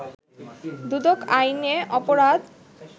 দুদক আইনে অপরাধ